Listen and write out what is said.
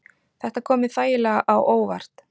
Þetta kom mér þægilega á óvart